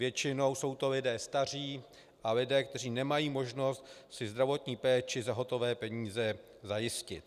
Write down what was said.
Většinou jsou to lidé staří a lidé, kteří nemají možnost si zdravotní péči za hotové peníze zajistit.